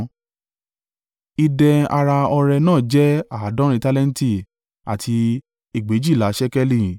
Idẹ ara ọrẹ náà jẹ́ àádọ́rin tálẹ́ǹtì àti egbèjìlá (2,400) ṣékélì.